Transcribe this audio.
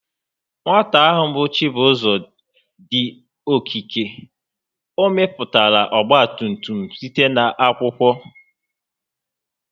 Nwata ahụ bụ Chibuzọ dị okike, o mepụtara ọgbatumtum site n'akwụkwọ